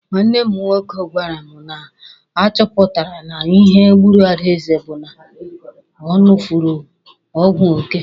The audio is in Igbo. Nwanne m nwoke gwara mụ na a chọpụtara na ihe gburu Adaeze bụ na ọ ṅụfere ọgwụ oke.